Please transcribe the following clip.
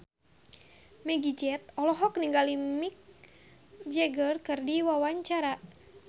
Meggie Z olohok ningali Mick Jagger keur diwawancara